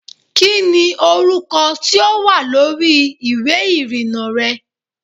Kí ni orúkọ tí ó wà lórí ìwé ìrìnnà rẹ?